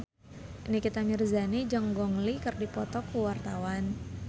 Nikita Mirzani jeung Gong Li keur dipoto ku wartawan